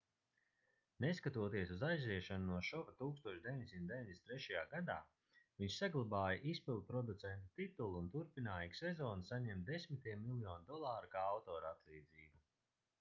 neskatoties uz aiziešanu no šova 1993. gadā viņš saglabāja izpildproducenta titulu un turpināja ik sezonu saņemt desmitiem miljonu dolāru kā autoratlīdzību